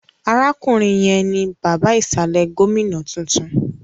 Arákùnrin yẹn ni bàbá ìsàlẹ̀ gómìnà tuntun